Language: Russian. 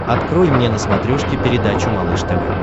открой мне на смотрешке передачу малыш тв